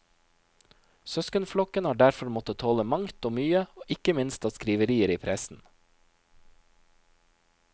Søskenflokken har derfor måtte tåle mangt og mye, ikke minst av skriverier i pressen.